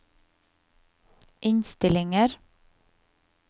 innstillinger